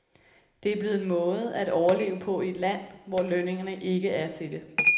Det er blevet en måde at overleve på i et land, hvor lønningerne ikke er til det.